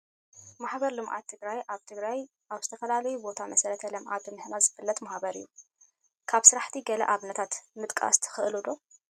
ማሕበር ልምዓት ትግራይ ኣብ ትግራይ ኣብ ዝተፈላለዩ ቦታ መሰረተ ልምዓት ብምህናፅ ዝፍለጥ ማሕበር እዩ፡፡ ካብ ስራሕቲ ገለ ኣብነታት ምጥቓስ ትኽእሉ ዶ